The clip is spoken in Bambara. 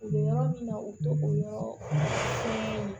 U bɛ yɔrɔ min na u tɔgɔ ni